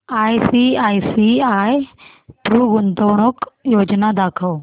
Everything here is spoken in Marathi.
आयसीआयसीआय प्रु गुंतवणूक योजना दाखव